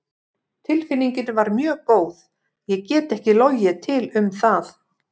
Tilfinningin var mjög góð, ég get ekki logið til um það.